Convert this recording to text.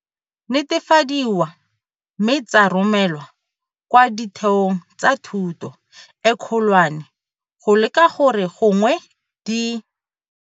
Netefadiwa mme tsa romelwa kwa ditheong tsa thuto e kgolwane go leka gore gongwe di.